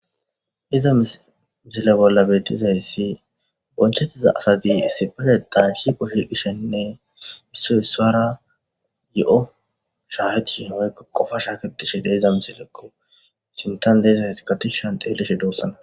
iza misile bolla bettizayyssi bonchettiza asazi issipale daan shiqo shiqishenne issoy ssara yo7o shaahaci shi homykka kofa shaakedishe deiza misilekko sintan deezayss katishshan xeeleshe doossana